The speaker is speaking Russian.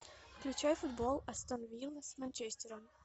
включай футбол астон вилла с манчестером